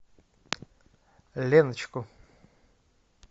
леночку